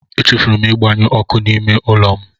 Echefuru m ịgbanyụ ọkụ n'ime ụlọ m.